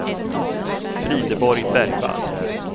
Frideborg Bergvall